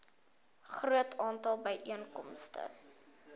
groot aantal byeenkomste